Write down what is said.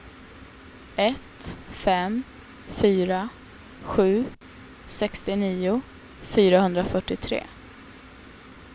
ett fem fyra sju sextionio fyrahundrafyrtiotre